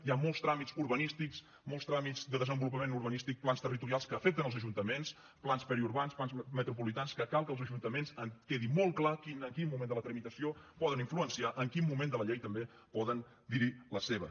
hi ha molts tràmits urbanístics molts tràmits de desenvolupament urbanístic plans territorials que afecten els ajuntaments plans periurbans plans metropolitans que cal que els ajuntaments quedi molt clar en quin moment de la tramitació poden influenciar en quin moment de la llei també poden dir hi la seva